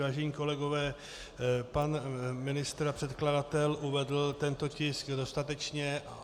Vážení kolegové, pan ministr a předkladatel uvedl tento tisk dostatečně.